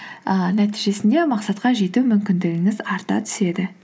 ііі нәтижесінде мақсатқа жету мүмкіндігіңіз арта түседі